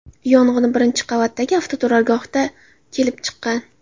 Yong‘in birinchi qavatdagi avtoturargohda kelib chiqqan.